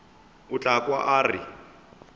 o tla kwa a re